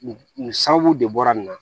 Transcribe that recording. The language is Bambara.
Nin nin sababu de bɔra nin na